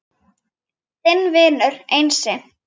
Þinn vinur Einsi